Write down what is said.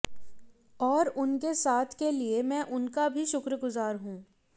और उनके साथ के लिए मैं उनका भी शुक्रगुजार हूं